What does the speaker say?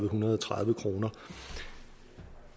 hundrede og tredive kroner